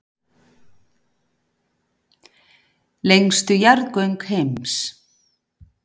Lengstu jarðgöng heims